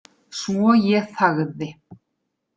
Svo ég þagði.